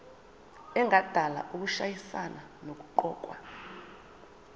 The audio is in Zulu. engadala ukushayisana nokuqokwa